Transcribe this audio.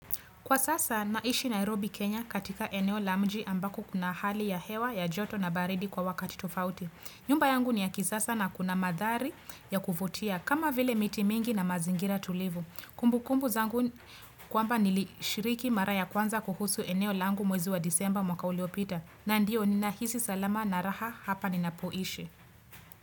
Kwa sasa naishi Nairobi Kenya katika eneo la mji ambako kuna hali ya hewa ya joto na baridi kwa wakati tofauti. Nyumba yangu ni ya kisasa na kuna mandhari ya kuvutia kama vile miti mingi na mazingira tulivu. Kumbukumbu zangu kwamba nilishiriki mara ya kwanza kuhusu eneo langu mwezi wa disemba mwaka uliopita. Na ndiyo ninahisi salama na raha hapa ni ninapoishi.